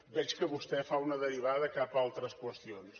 veig que vostè fa una derivada cap a altres qüestions